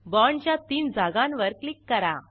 बाँडच्या तीन जागांवर क्लिक करा